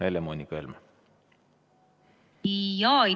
Helle-Moonika Helme!